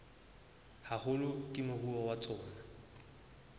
haholo ke moruo wa tsona